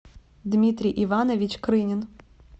дмитрий иванович крынин